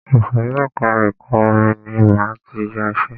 Ìsòrí ẹka ẹ̀kọ́ orin ní máa tí yá iṣẹ.